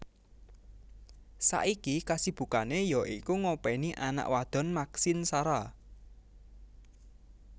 Saiki kasibukane ya iku ngopeni anak wadon Maxine Sara